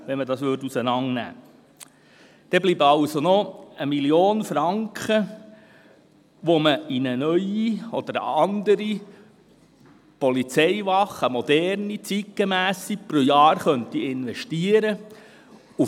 Somit bleiben also noch 1 Mio. Franken, die man in eine neue oder eine andere moderne und zeitgemässe Polizeiwache pro Jahr investieren könnte.